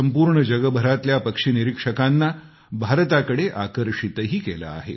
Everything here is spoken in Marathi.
संपूर्ण जगभरातल्या पक्षी निरीक्षकांना भारताकडे आकर्षितही केलं आहे